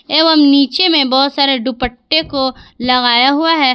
एवं नीचे में बहुत सारे दुपट्टे को लगाया हुआ है।